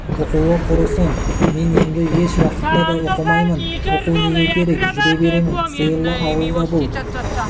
оқуы құрысын мен енді еш уақытта да оқымаймын оқу неге керек жүре беремін сиырлы ауылда бұл